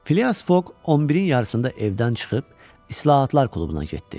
Filias Fok 11-in yarısında evdən çıxıb İslahatlar klubuna getdi.